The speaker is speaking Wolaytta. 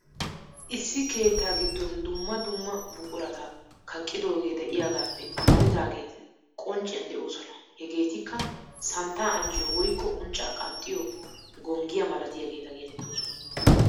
Issi keettaa giddon dumma dumma buqurata kaqqidoogee de'iyagaappe amaridaageeti qoncciyan de'oosona. Hegeetikka santtaa ancciyo woykko unccaa qanxxiyo gonggiya malatiyageeta geetettoosona.